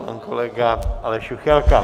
Pan kolega Aleš Juchelka.